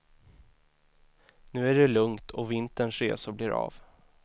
Nu är det lugnt och vinterns resor blir av.